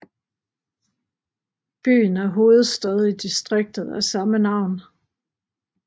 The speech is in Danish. Byen er hovedstad i distriktet af samme navn